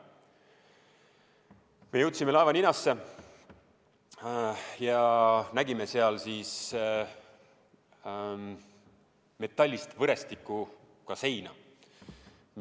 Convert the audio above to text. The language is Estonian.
Me jõudsime laevaninasse ja nägime seal metallist võrestikuga seina.